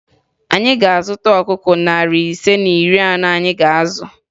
Anyị ga-azụta ọkụkọ narị ise na iri anọ anyị ga-azụ